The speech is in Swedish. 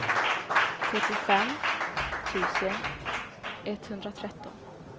trettiofem tusen etthundratretton